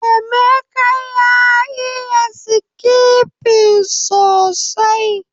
Emeka ya iya skipping sosai